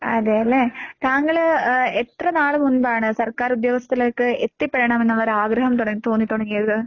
അതേല്ലേ. താങ്കള് ഏഹ് എത്രനാള് മുൻപാണ് സർക്കാർ ഉദ്യോഗത്തിലേക്ക് എത്തിപ്പെടണമെന്നൊള്ളൊരാഗ്രഹം തുടങ്ങ് തോന്നിത്തുടങ്ങിയത്?